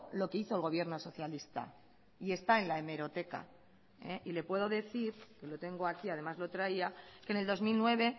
lo que hizo el gobierno socialista y está en la hemeroteca y le puedo decir que lo tengo aquí además lo traía que en el dos mil nueve